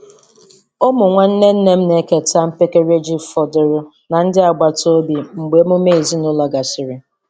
Ụmụ nwanne nne m na-eketa mpekere ji fọdụrụ na ndị agbata obi mgbe emume ezinụlọ gasịrị.